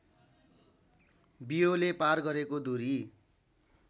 बियोले पार गरेको दूरी